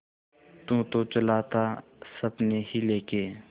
तू तो चला था सपने ही लेके